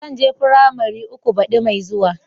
Zan je firamari uku baddi Mai zuwa.